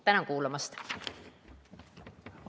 Tänan kuulamast!